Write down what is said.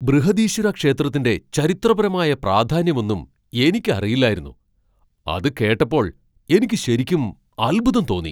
ബൃഹദീശ്വര ക്ഷേത്രത്തിന്റെ ചരിത്രപരമായ പ്രാധാന്യമൊന്നും എനിക്ക് അറിയില്ലായിരുന്നു, അത് കേട്ടപ്പോൾ എനിക്ക് ശരിക്കും അത്ഭുതം തോന്നി.